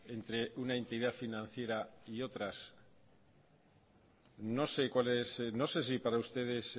entre una entidad financiera y otras no sé si para ustedes